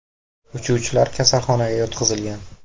Uchuvchilar kasalxonaga yotqizilgan.